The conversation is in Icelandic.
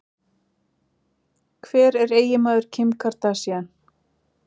Hver er eiginmaður Kim Kardashian?